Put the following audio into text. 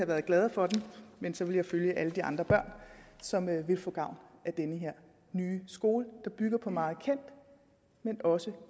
været glade for den men så vil jeg følge alle de andre børn som vil få gavn af den her nye skole der bygger på meget kendt men også